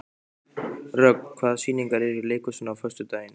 Rögn, hvaða sýningar eru í leikhúsinu á föstudaginn?